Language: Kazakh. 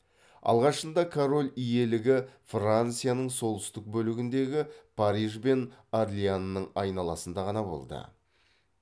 алғашында король иелігі францияның солтүстік бөлігіндегі париж бен орлеанның айналасында ғана болды